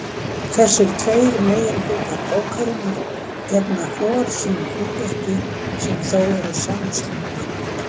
Þessir tveir meginhlutar bókarinnar gegna hvor sínu hlutverki sem þó eru samslungin.